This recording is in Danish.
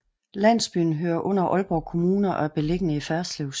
Landsbyen hører under Aalborg Kommune og er beliggende i Ferslev Sogn